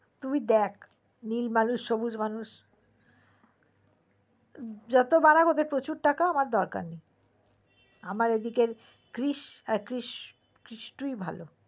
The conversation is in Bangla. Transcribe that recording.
তুই দেখ নীল মানুষ সবুজ মানুষ যত বারা ওদের প্রচুর টাকা আমার দরকার নেই আমার এদিকের ক্রিস টুই ভালো